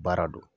Baara don